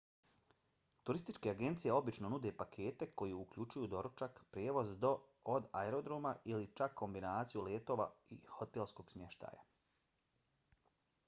turističke agencije obično nude pakete koji uključuju doručak prijevoz do/od aerodroma ili čak kombinaciju letova i hotelskog smještaja